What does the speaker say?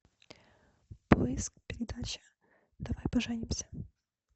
поиск передачи давай поженимся